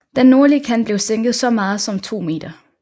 Den nordlige kant blev sænket så meget som 2 m